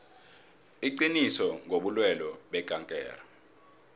iqiniso ngobulwelwe bekankere